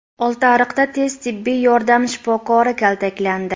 Oltiariqda tez tibbiy yordam shifokori kaltaklandi.